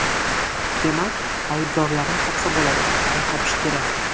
Demak, aybdorlarni topsa bo‘ladi va topish kerak.